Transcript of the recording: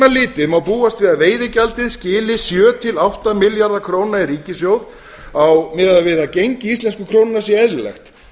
litið má búast við að veiðigjaldið skili sjö til átta milljarða króna í ríkissjóð miðað við að gengi íslensku krónunnar sé eðlilegt